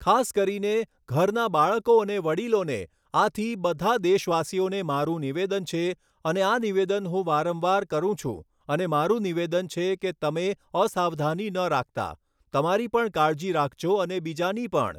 ખાસ કરીને, ઘરનાં બાળકો અને વડીલોને, આથી, બધાં દેશવાસીઓને મારું નિવેદન છે અને આ નિવેદન હું વારંવાર કરું છું અને મારું નિવેદન છે કે તમે અસાવધાની ન રાખતા, તમારી પણ કાળજી રાખજો અને બીજાની પણ.